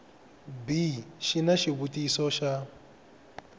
b xi na xivutiso xa